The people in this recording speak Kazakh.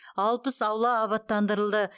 алпыс аула абаттандырылды